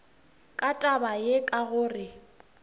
ka taba ye ka gore